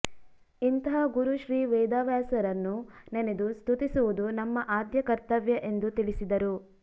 ಇಂತಹ ಗುರು ಶ್ರೀ ವೇದವ್ಯಾಸರನ್ನು ನೆನೆದು ಸ್ತುತಿಸುವುದು ನಮ್ಮ ಆದ್ಯ ಕರ್ತವ್ಯ ಎಂದು ತಿಳಿಸಿದರು